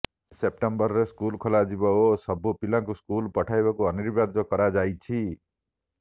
ସେପ୍ଟେମ୍ବରରେ ସ୍କୁଲ ଖୋଲାଯିବ ଓ ସବୁ ପିଲାଙ୍କୁ ସ୍କୁଲ ପଠାଇବାକୁ ଅନିବାର୍ଯ୍ୟ କରାଯାଇଛି